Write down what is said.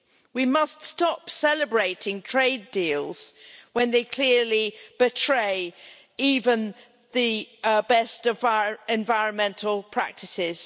We must stop celebrating trade deals when they clearly betray even the best of our environmental practices.